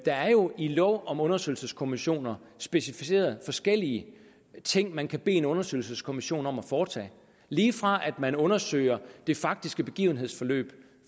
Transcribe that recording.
er jo i lov om undersøgelseskommissioner specificeret forskellige ting man kan bede en undersøgelseskommission om at foretage lige fra man undersøger det faktiske begivenhedsforløb